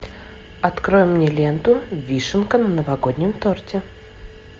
открой мне ленту вишенка на новогоднем торте